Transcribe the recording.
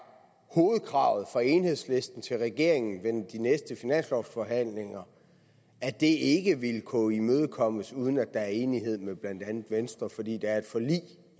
hovedkravet fra enhedslisten til regeringen ved de næste finanslovsforhandlinger ikke vil kunne imødekommes uden at der er enighed med blandt andet venstre fordi der er et forlig